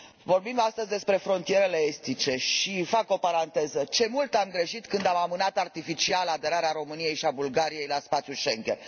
Vorbim astăzi despre frontierele estice și fac o paranteză ce mult am greșit când am amânat artificial aderarea României și a Bulgariei la spațiul Schengen!